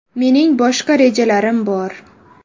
Mening boshqa rejalarim bor.